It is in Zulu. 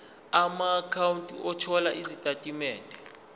amaakhawunti othola izitatimende